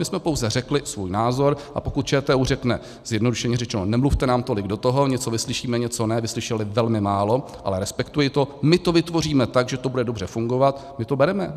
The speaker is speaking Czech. My jsme pouze řekli svůj názor, a pokud ČTÚ řekne, zjednodušeně řečeno, nemluvte nám tolik do toho, něco vyslyšíme, něco ne - vyslyšeli velmi málo, ale respektuji to - my to vytvoříme tak, že to bude dobře fungovat, my to bereme.